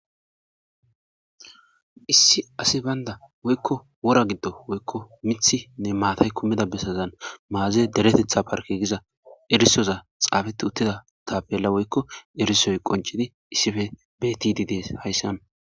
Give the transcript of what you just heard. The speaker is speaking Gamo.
Issi asi bayndda woyko wora gidoppe miththi maatay kumida bessazan maaze deretetha parkke giza xafeti uttida tappela woykk erisoy qonccidi issipe bettidi dessi haysan.